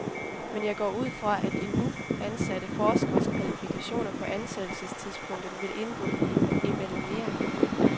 Men jeg går ud fra, at de nu ansatte forskeres kvalifikationer på ansættelsestidspunktet vil indgå i evalueringen.